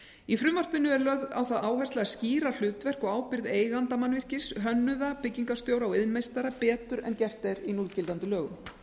í frumvarpinu er lögð á það áhersla að skýra hlutverk og ábyrgð eiganda mannvirkis hönnuða byggingarstjóra og iðnmeistara betur en gert er í núgildandi lögum